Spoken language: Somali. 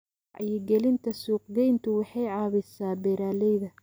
Wacyigelinta suuqgeyntu waxay caawisaa beeralayda.